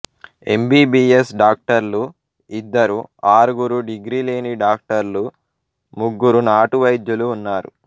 MBBS డాక్టర్లు ఇద్దరు ఆరుగురు డిగ్రీ లేని డాక్టర్లు ముగ్గురు నాటు వైద్యులు ఉన్నారు